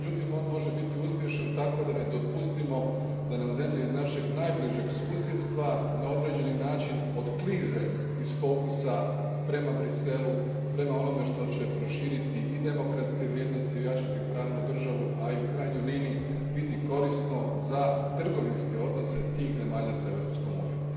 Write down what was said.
Međutim, on može biti uspješan tako da ne dopustimo da nam zemlje iz našeg najbližeg susjedstva na određeni način otklize iz fokusa prema Bruxellesu, prema onome što će proširiti i demokratske vrijednosti i ojačati pravnu državu, a i u krajnjoj liniji biti korisno za trgovinske odnose tih zemalja s Europskom unijom.